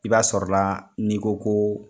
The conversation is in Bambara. I b'a sɔrɔla n'i ko ko